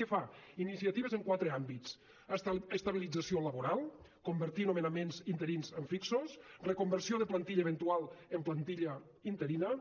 què fa iniciatives en quatre àmbits estabilització laboral convertir nomenaments interins en fixos reconversió de plantilla eventual en plantilla interina